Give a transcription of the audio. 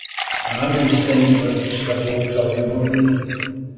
Það minntist enginn á upplýsingaflóðið frá því um morguninn.